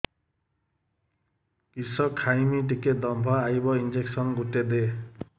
କିସ ଖାଇମି ଟିକେ ଦମ୍ଭ ଆଇବ ଇଞ୍ଜେକସନ ଗୁଟେ ଦେ